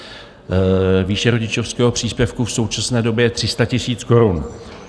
Výše rodičovského příspěvku v současné době je 300 000 korun.